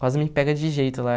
Quase me pega de jeito lá.